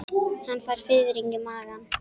Hann fær fiðring í magann.